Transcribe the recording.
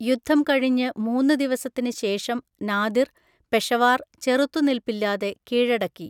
യുദ്ധം കഴിഞ്ഞ് മൂന്ന് ദിവസത്തിന് ശേഷം നാദിർ, പെഷവാർ ചെറുത്തുനിൽപ്പില്ലാതെ കീഴടക്കി.